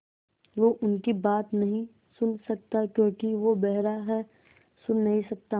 वो उनकी बात नहीं सुन सकता क्योंकि वो बेहरा है सुन नहीं सकता